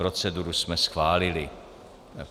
Proceduru jsme schválili.